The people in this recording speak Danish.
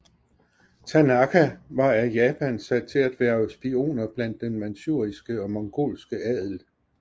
Tanaka var af Japan sat til at hverve spioner blandt den manchuiske og mongolske adel